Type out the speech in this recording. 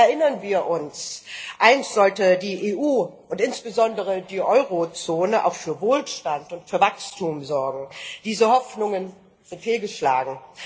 Erinnern wir uns Einst sollte die EU und insbesondere die Euro Zone auch für Wohlstand und für Wachstum sorgen diese Hoffnungen sind fehlgeschlagen.